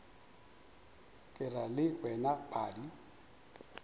ke ra le wena padi